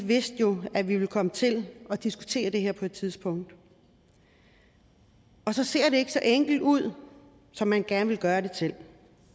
vidste at vi ville komme til at diskutere det her på et tidspunkt og så ser det pludselig ikke så enkelt ud som man gerne vil gøre det til